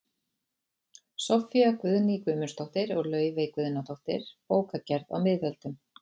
Soffía Guðný Guðmundsdóttir og Laufey Guðnadóttir, Bókagerð á miðöldum